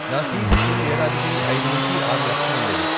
నా సీటీసీ ఏడాదికి ఐదు నుంచి ఆరు లక్షలు ఉండేది .